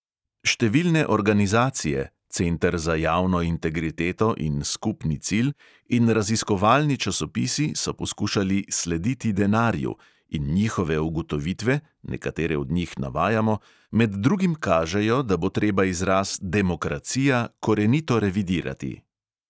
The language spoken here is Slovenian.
Številne organizacije (center za javno integriteto in skupni cilj) in raziskovalni časopisi so poskušali "slediti denarju" in njihove ugotovitve – nekatere od njih navajamo – med drugim kažejo, da bo treba izraz "demokracija" korenito revidirati.